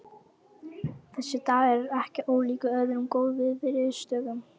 Þessi dagur er ekki ólíkur öðrum góðviðrisdögum.